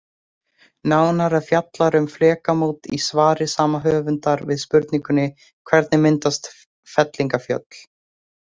Nánar er fjallað um flekamót í svari sama höfundar við spurningunni Hvernig myndast fellingafjöll?